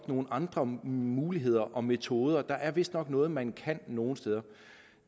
nogle andre muligheder og metoder der er vistnok noget man kan nogle steder